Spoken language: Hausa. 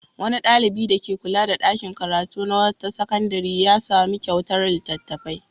Wani ɗalibi dake kula da ɗakin karatu na wata sakandare ya sami kyautar littattafai.